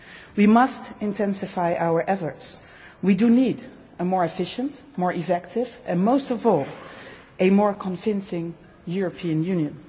We must intensify our efforts. We need a more efficient, more effective and, most of all, a more convincing European Union.